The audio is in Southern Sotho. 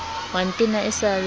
wa ntena e sa le